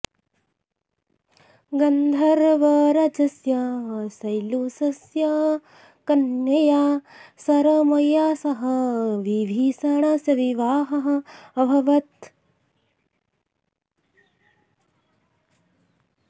गन्धर्वराजस्य शैलूषस्य कन्यया सरमया सह विभीषणस्य विवाहः अभवत्